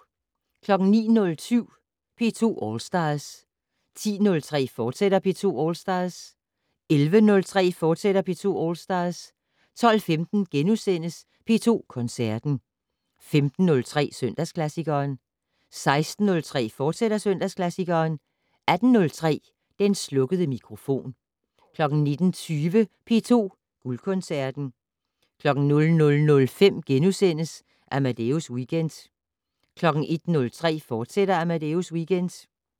09:07: P2 All Stars 10:03: P2 All Stars, fortsat 11:03: P2 All Stars, fortsat 12:15: P2 Koncerten * 15:03: Søndagsklassikeren 16:03: Søndagsklassikeren, fortsat 18:03: Den slukkede mikrofon 19:20: P2 Guldkoncerten 00:05: Amadeus Weekend * 01:03: Amadeus Weekend, fortsat